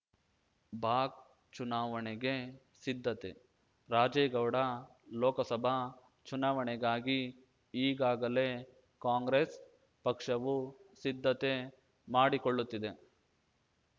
ಬಾಕ್ ಚುನಾವಣೆಗೆ ಸಿದ್ಧತೆ ರಾಜೇಗೌಡ ಲೋಕಸಭಾ ಚುನಾವಣೆಗಾಗಿ ಈಗಾಗಲೇ ಕಾಂಗ್ರೆಸ್‌ ಪಕ್ಷವು ಸಿದ್ಧತೆ ಮಾಡಿಕೊಳ್ಳುತ್ತಿದೆ